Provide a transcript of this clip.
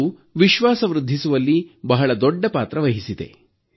ಅದು ವಿಶ್ವಾಸ ವೃದ್ಧಿಸುವಲ್ಲಿ ಬಹಳ ದೊಡ್ಡ ಪಾತ್ರವಹಿಸಿದೆ